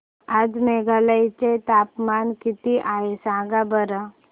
आज मेघालय चे तापमान किती आहे सांगा बरं